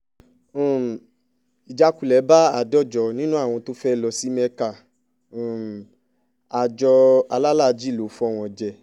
um ìjákulẹ̀ bá àádọ́jọ nínú àwọn tó fẹ́ẹ́ lọ sí mẹ́ka um àjọ alálàájì ló fọ́ wọn jẹ